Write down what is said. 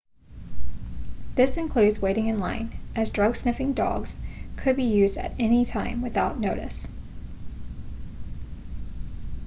this includes waiting in line as drug-sniffing dogs could be used at any time without notice